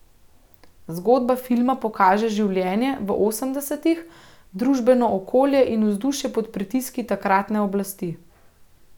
Zgodba filma pokaže življenje v osemdesetih, družbeno okolje in vzdušje pod pritiski takratne oblasti.